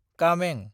कामें